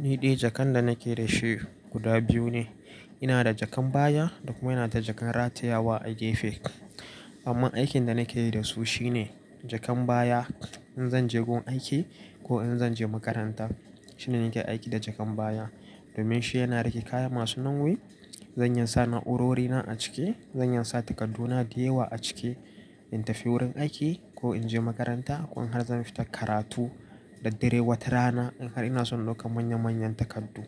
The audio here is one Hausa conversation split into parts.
Ni dai jakan da nake da shi guda biyu ne. Ina da jakan baya da kuma ina da jakan ratayawa a gefe. Amma aikin da nake yi da su shine jakan baya in zan je gun aiki ko in zan je makaranta shine nake aiki da jakan baya domin shi yana riƙe kaya masu nauyi. Zan iya sa na'urori na a ciki, zan iya sa takaddu na da yawa a ciki in tafi wurin aiki ko in je makaranta ko in har zan fita karatu. Da dare wata rana in har ina son ɗauka manya-manyan takardu.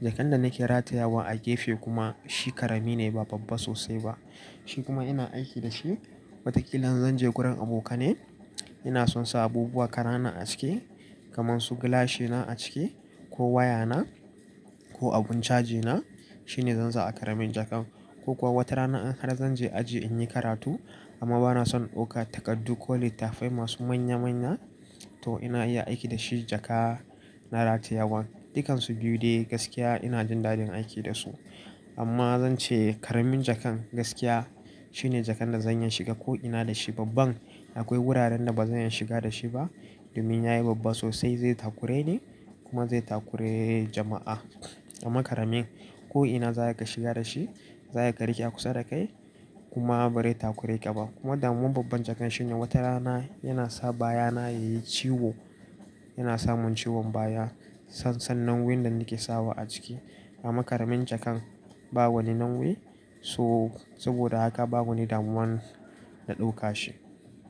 Jakan da nake ratayawa a gefe kuma shi ƙarami ne ba babba sosai ba. Shi kuma ina aiki da shi watakila in zan je gurin abokanai ina son sa abubuwa ƙanana a cike kamar su gilashina a ciki ko wayana ko abun cajina shine zan sa a ƙaramin jakan. Ko kuwa wata rana in har zan je aji in yi karatu amma ba na son ɗauka takardu ko littattafai masu manya-manya to ina iya aiki da shi jaka na ratayawan. Dukansu biyu dai gaskiya ina jin daɗin aiki da su. Amma zan ce ƙaramin jakan gaskiya shine jakan da zan iya shiga ko ina da shi babban akwai wuraren da ba zan iya shiga da shi ba domin yayi babba sosai zai takure ni kuma zai takure jama'a. Amma karamin ko ina za a iya shiga da shi za ya kariƙe a kusa da kai kuma bari takure ka ba. Kuma damuwan babban jakan shine wata rana yana sa baya na yayi ciwo yana samun ciwon baya sassan nauyin da nake sawa a ciki. Amma karamin jakan ba wani nauyi so saboda haka ba wani damuwan na ɗauka shi.